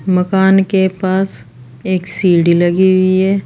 मकान के पास एक सीढ़ी लगी हुई है।